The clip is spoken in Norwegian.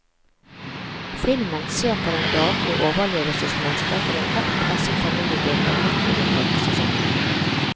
Filmen ser på den daglig overlevelsemønster til en hardt presset familiegruppe midt under tørkesesongen.